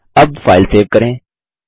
अब file save करें